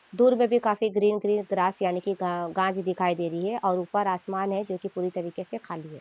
दूर पे भी काफी ग्रीन ग्रीन ग्रास यानी की घांस दिखाई दे रही है और ऊपर आसमान है जो की पूरी तरीके से खाली है।